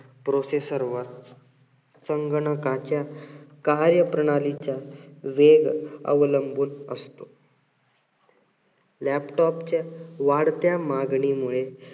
processor वर संगणकाच्या कार्यप्रणालीच्या वेग अवलंबून असतो. laptop च्या वाढत्या मागणीमुळे